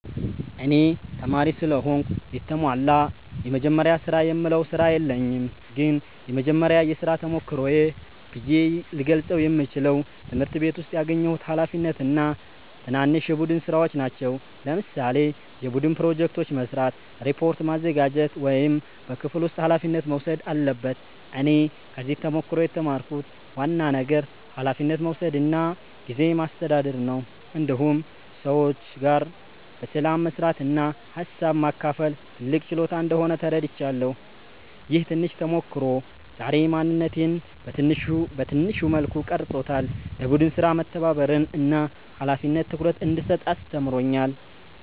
እኔ ተማሪ ስለሆንኩ የተሟላ “የመጀመሪያ ስራ”የምለው ስራ የለኝም ግን የመጀመሪያ የሥራ ተሞክሮዬ ብዬ ልገልጸው የምችለው ትምህርት ቤት ውስጥ ያገኘሁት ኃላፊነት እና ትናንሽ የቡድን ሥራዎች ናቸው። ለምሳሌ የቡድን ፕሮጀክት መስራት፣ ሪፖርት ማዘጋጀት ወይም በክፍል ውስጥ ኃላፊነት መውሰድ አለበት እኔ ከዚህ ተሞክሮ የተማርኩት ዋና ነገር ኃላፊነት መውሰድ እና ጊዜ ማስተዳደር ነው። እንዲሁም ሰዎች ጋር በሰላም መስራት እና ሀሳብ ማካፈል ትልቅ ችሎታ እንደሆነ ተረድቻለሁ። ይህ ትንሽ ተሞክሮ ዛሬ ማንነቴን በትንሹ መልኩ ቀርጾታል፤ ለቡድን ሥራ መተባበርን እና ለኃላፊነት ትኩረት እንድሰጥ አስተምሮኛል።